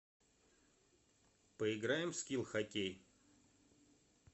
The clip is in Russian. поиграем в скил хоккей